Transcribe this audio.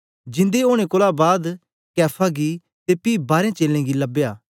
जिंदे ओनें कोलां बाद कैफा गी ते पी बारें चेलें गी लबया